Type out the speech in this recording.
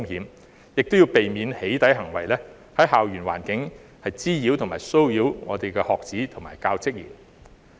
當局亦要避免"起底"行為在校園環境滋擾及騷擾學子及教職員。